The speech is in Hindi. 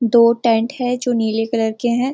दो टेंट हैं जो नीले कलर के हैं।